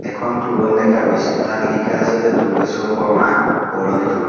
এইখন তোৰণ দেখা গৈছে তাত লিখা আছে যে দুৰ্গেশ্বৰ শৰ্ম্মা সোঁৱৰণী তোৰণ।